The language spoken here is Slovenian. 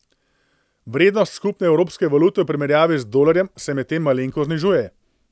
Vrednost skupne evropske valute v primerjavi z dolarjem se medtem malenkost znižuje.